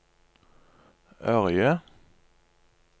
Ørje